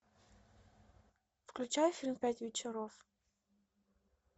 включай фильм пять вечеров